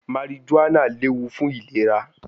Marijuana lewu fun ilera